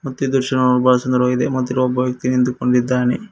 ಮತ್ತು ಇದು ಶೋಭಾ ಸುಂದರವಾಗಿದೆ ಮತ್ತು ಇಲ್ಲಿ ಒಬ್ಬ ವ್ಯಕ್ತಿ ನಿಂತುಕೊಂಡಿದ್ದಾನೆ.